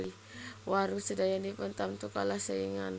Warung sedayanipun tamtu kalah saingan